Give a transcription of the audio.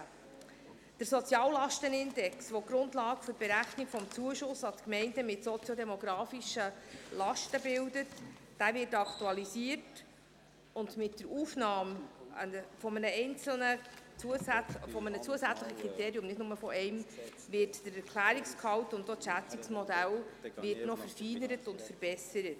Der Soziallastenindex, der die Grundlage für die Berechnung des Zuschusses an Gemeinden mit soziodemografischen Lasten bildet, wird aktualisiert, und mit der Aufnahme eines zusätzlichen Kriteriums werden der Erklärungsgehalt und das Schätzungsmodell verfeinert und verbessert.